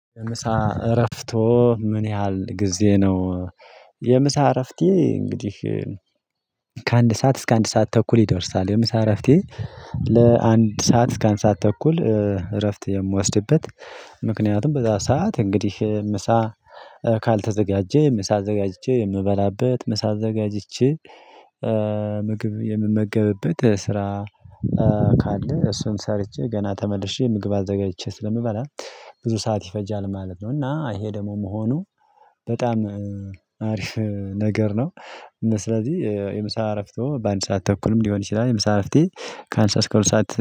የምሳ እረፍቶ ምን ያህል ጊዜ ነው? የምሳ እረፍቴ እንግዲህ ከአንድ ሰዓት እስከ አንድ ሰዓት ተኩል ይደርሳል የምሳ እረፍቴ። ለአንድ ሰዓት እስከ አንድ ሰዓት ተኩል እረፍት የምወስድበት። ምክንያቱም በዛ ሰዓት እንግዲህ ምሳ ካልተዘጋጀ ምሳ አዘጋጅቼ የምበላበት ምሳ አዘጋጅቼ። ምግብ የምመገብበት ስራ ካለ እሱን ሰርቼ ገና ተመልሼ ምግብ አዘጋጅቼ ስለምበላ ብዙ ሰዓት ይፈጃል ማለት ነው። እና ይሄ ደግሞ መሆኑ በጣም አሪፍ ነገር ነው። ስለዚህ የምሳ አረፍቶ በአንድ ሰዓት ተኩልም ሊሆን ይችላል የምሳ አረፍቴ ከአንድ ሰዓት ከሁለት ሰዓት